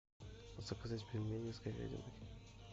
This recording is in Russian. заказать пельмени с говядиной